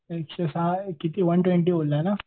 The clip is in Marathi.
एकशे सहा किती वन ट्वेन्टी बोलला ना?